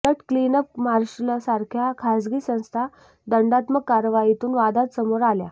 उलट क्लीनअप मार्शलसारख्या खासगी संस्था दंडात्मक कारवाईतून वादात समोर आल्या